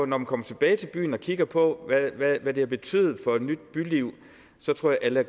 man kommer tilbage til byen og kigger på hvad det har betydet for et nyt byliv tror jeg